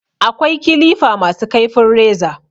Akwai kilifa ma su kaifin reza